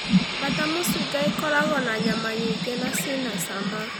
Bata mũcinga ĩkoragwo na nyama nyingĩ na ci na cama